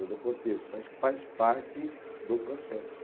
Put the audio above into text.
do contexto. Acho que faz parte do processo.